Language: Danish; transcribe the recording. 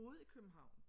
Boede i København